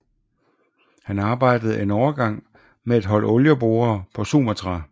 Han arbejdede en overgang med et hold olieborere på Sumatra